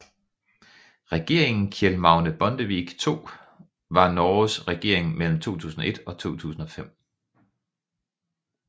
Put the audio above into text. Regeringen Kjell Magne Bondevik II var Norges regering mellem 2001 og 2005